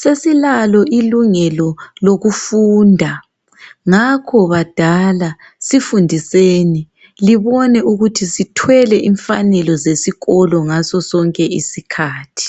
Sesilalo ilungelo lokufunda ngakho badala sifundiseni. Libone ukuthi sithwele imfanelo zesikolo ngasosonke isikhathi.